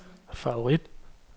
favorit